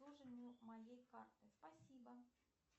обслуживанию моей карты спасибо